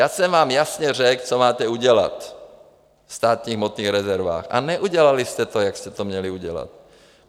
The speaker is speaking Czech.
Já jsem vám jasně řekl, co máte udělat ve státních hmotných rezervách, a neudělali jste to, jak jste to měli udělat.